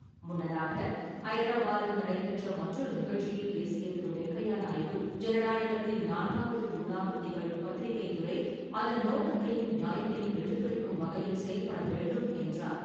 முன்னதாக, ஐதராபாத்தில் நடைபெற்ற மற்றொரு நிகழ்ச்சியில் பேசிய திரு. வெங்கையா நாயுடு, ஜனநாயகத்தின் நான்காவது துாணாகத் திகழும் பத்திரிக்கைத் துறை அதன் நோக்கத்தையும், நியாயத்தையும் எடுத்துரைக்கும் வகையில் செயல்பட வேண்டும் என்றார்.